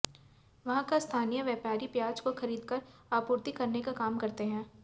वहाँ का स्थानीय व्यापारी प्याज को खरीदकर आपूर्ति करने का काम करते हैं